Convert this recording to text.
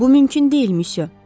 Bu mümkün deyil, myusyo.